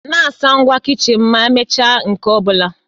Na-asa ngwá kichin ma emechaa nke ọ bụla.